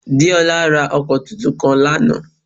Déolá ra ọkọ̀ tuntun kan lánàá